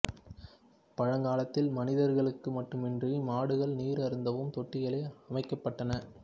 பழங்காலத்தில் மனிதர்களுக்கு மட்டுமன்றி மாடுகள் நீர் அருந்தவும் தொட்டிகள் அமைக்கப்பட்டன